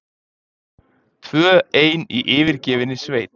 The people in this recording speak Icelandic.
Tvö ein í yfirgefinni sveit.